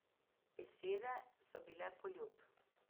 Besede so bile poljub.